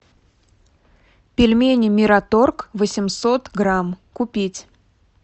пельмени мираторг восемьсот грамм купить